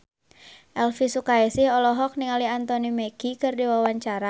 Elvi Sukaesih olohok ningali Anthony Mackie keur diwawancara